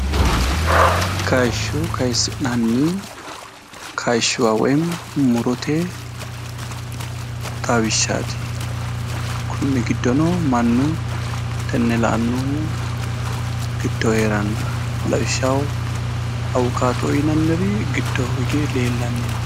Kaayishsho kaayisi'nanni kaayiishsha woy mu'rote xawishshaati konni giddono baalu tenne la'annohu giddo heeranna lawishshaho awukaato"oo yinaari giddo leellanni no